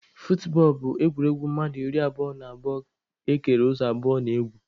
Futbọọlụ bụ egwuregwu mmadụ iri abụo na abụo ekere ụzọ abụọ na-egwu.